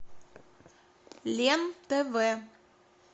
лен тв